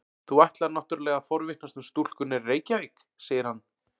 Þú ætlar náttúrlega að forvitnast um stúlkurnar í Reykjavík, segir hann.